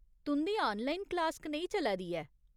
तुं'दी online class कनेही चलै दी ऐ ?